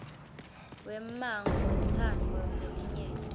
wemmango wentsandvo yelinyenti